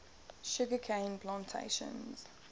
sugar cane plantations